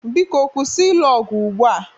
Biko kwụsị ịlụ ọgụ ugbua!